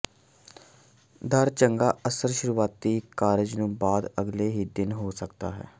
ਦਰ ਚੰਗਾ ਅਸਰ ਸ਼ੁਰੂਆਤੀ ਕਾਰਜ ਨੂੰ ਬਾਅਦ ਅਗਲੇ ਹੀ ਦਿਨ ਹੋ ਸਕਦਾ ਹੈ